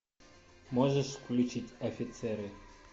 можешь включить офицеры